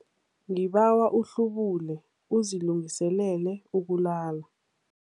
Ngibawa uhlubule uzilungiselele ukulala.